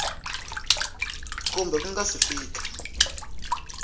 kumbe ku nga si fika